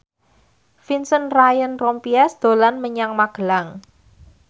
Vincent Ryan Rompies dolan menyang Magelang